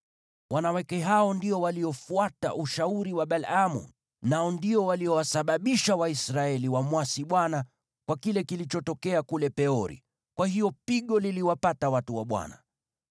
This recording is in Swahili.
“Wanawake hao ndio waliofuata ushauri wa Balaamu, nao ndio waliowasababisha Waisraeli wamwasi Bwana kwa kile kilichotokea kule Peori, na kwa hiyo pigo liliwapata watu wa Bwana .